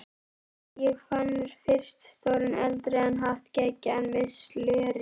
Ég fann fyrst stóran eldrauðan hatt geggjaðan, með slöri.